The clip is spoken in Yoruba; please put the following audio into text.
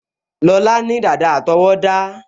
Lọlá ní dàda àtọwọ́dá